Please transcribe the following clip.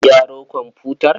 Ka gyaro komfutar?